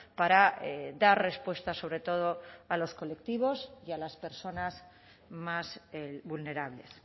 para dar respuesta sobre todo a los colectivos y a las personas más vulnerables